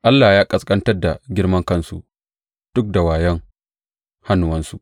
Allah ya ƙasƙantar da girmankansu duk da wayon hannuwansu.